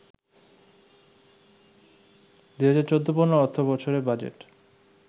২০১৪-১৫ অর্থবছরের বাজেট